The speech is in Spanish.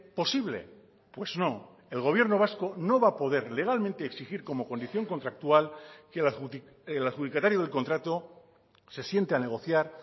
posible pues no el gobierno vasco no va a poder legalmente exigir como condición contractual que el adjudicatario del contrato se siente a negociar